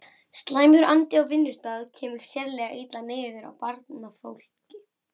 Slæmur andi á vinnustað kemur sérlega illa niður á barnafólki.